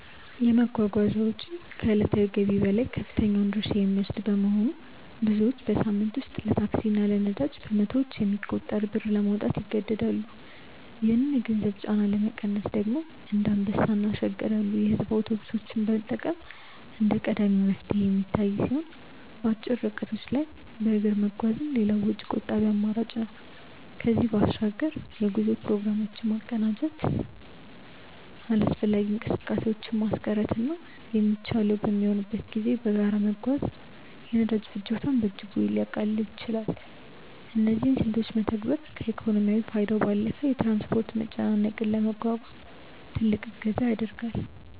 የመጓጓዣ ወጪ ከዕለታዊ ገቢ ላይ ከፍተኛውን ድርሻ የሚወስድ በመሆኑ፣ ብዙዎች በሳምንት ውስጥ ለታክሲ እና ለነዳጅ በመቶዎች የሚቆጠር ብር ለማውጣት ይገደዳሉ። ይህንን የገንዘብ ጫና ለመቀነስ ደግሞ እንደ አንበሳ እና ሸገር ያሉ የሕዝብ አውቶቡሶችን መጠቀም እንደ ቀዳሚ መፍትሄ የሚታይ ሲሆን፣ በአጭር ርቀቶች ላይ በእግር መጓዝም ሌላው ወጪ ቆጣቢ አማራጭ ነው። ከዚህም በባሻግር የጉዞ ፕሮግራሞችን በማቀናጀት አላስፈላጊ እንቅስቃሴዎችን ማስቀረትና የሚቻለው በሚሆንበት ጊዜ በጋራ መጓዝ የነዳጅ ፍጆታን በእጅጉ ሊያቃልል ይችላል። እነዚህን ስልቶች መተግበር ከኢኮኖሚያዊ ፋይዳው ባለፈ የትራንስፖርት መጨናነቅን ለመቋቋም ትልቅ እገዛ ያደርጋል።